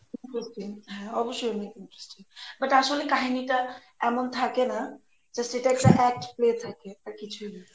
interesting হ্যাঁ অবশ্যই অনেক interesting But আসলে কাহিনীটা এমন থাকে না just এটা একটা act play থাকে আর কিছুই না